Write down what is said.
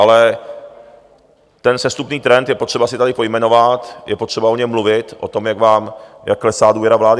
Ale ten sestupný trend je potřeba si tady pojmenovat, je potřeba o něm mluvit, o tom, jak klesá důvěra vlády.